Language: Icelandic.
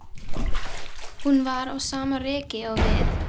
Hún var á sama reki og við.